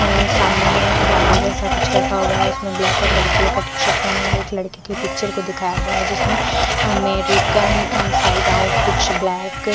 है सामने में एक डायरी जैसा कुछ रखा हुआ है उसमें ब्लैक और व्हाइट कलर का टीशर्ट पहने हुए एक लड़के की पिक्चर को दिखाया गया है जिसमें अमेरिकन साइड आउट कुछ ब्लैक --